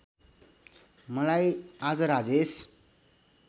मलाई आज राजेश